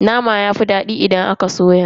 Nama yafi dadi idan aka soya.